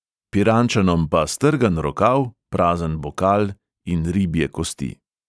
Pirančanom pa strgan rokav, prazen bokal in ribje kosti.